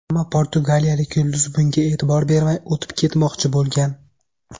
Ammo portugaliyalik yulduz bunga e’tibor bermay o‘tib ketmoqchi bo‘lgan.